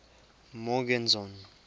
morgenzon